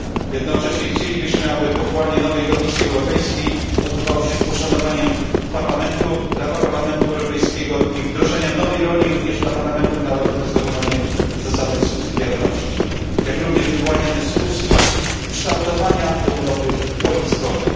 Jednocześnie chcielibyśmy, aby powołanie nowej Komisji Europejskiej odbywało się z poszanowaniem Parlamentu, prawa Parlamentu Europejskiego i wdrożenia nowej roli, również dla parlamentów narodowych z zachowaniem zasady subsydiarności, jak również wywołania dyskusji kształtowania Europy po Lizbonie.